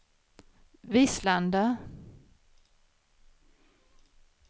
Vislanda